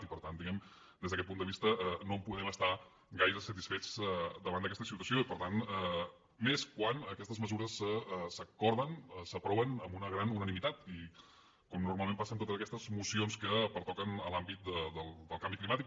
i per tant diguem ne des d’aquest punt de vista no en podem estar gaire satisfets davant d’aquesta situació i més quan aquestes mesures s’acorden s’aproven amb una gran unanimitat com normalment passa en totes aquestes mocions que pertoquen a l’àmbit del canvi climàtic